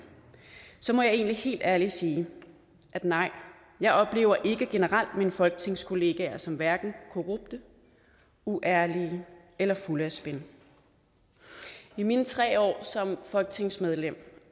må jeg egentlig helt ærligt sige at nej jeg oplever ikke generelt mine folketingskollegaer som hverken korrupte uærlige eller fulde af spin i mine tre år som folketingsmedlem